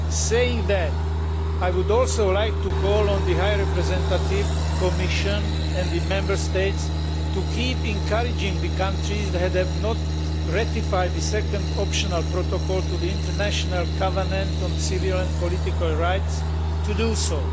Saying that, I would also like to call on the High Representative, the Commission and the Member States to keep encouraging the countries that have not ratified the Second Optional Protocol to the International Covenant on Civil and Political Rights to do so.